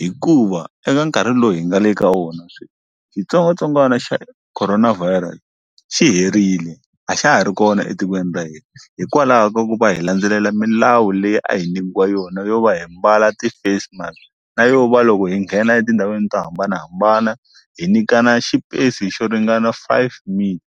hikuva eka nkarhi lowu hi nga le ka wona sweswi xitsongwatsongwana xa corona virus xi herile a xa ha ri kona etikweni ra hina hikwalaho ka ku va hi landzelela milawu leyi a hi nyikiwa yona yo va hi mbala ti-face mask na yo va loko hi nghena etindhawini to hambanahambana hi nyikana xipesi xo ringana five meter.